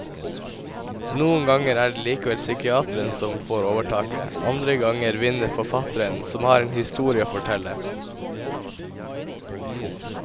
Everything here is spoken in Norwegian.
Noen ganger er det likevel psykiateren som får overtaket, andre ganger vinner forfatteren som har en historie å fortelle.